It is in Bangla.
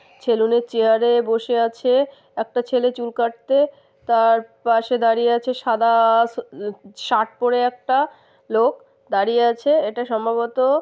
সেলুন এর চেয়ারে বসে আছে একটা ছেলে চুল কাটতে। তার পাশে দাঁড়িয়ে আছে সাদা-আ-আ শা আহ শার্ট পরে একটা লোক দাঁড়িয়ে আছে। এটা সম্ভবত।